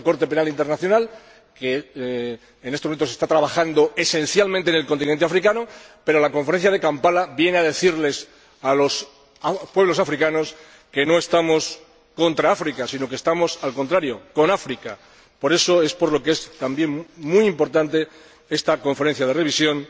Una Corte Penal Internacional que en estos momentos está trabajando esencialmente en el continente africano, pero la Conferencia de Kampala viene a decirles a los pueblos africanos que no estamos contra África, sino que estamos, al contrario, con África. Por eso es por lo que es también muy importante esta Conferencia de Revisión